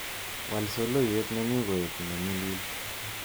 Wal soloiwet nenyu koek nenyilil